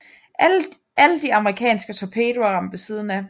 Alle de amerikanske torpedoer ramte ved siden af